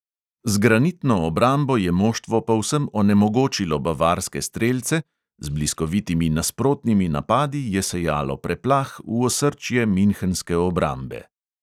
Z granitno obrambo je moštvo povsem onemogočilo bavarske strelce, z bliskovitimi nasprotnimi napadi je sejalo preplah v osrčje minhenske obrambe.